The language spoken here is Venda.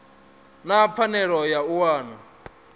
na pfanelo ya u wana